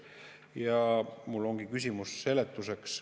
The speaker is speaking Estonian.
Mul ongi küsimus seletuse saamiseks.